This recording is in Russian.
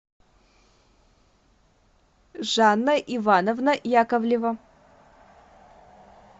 жанна ивановна яковлева